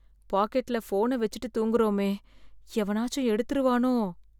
பாக்கெட்ல போன வெச்சுட்டு தூங்கறமே, எவனாச்சு எடுத்துருவானோ?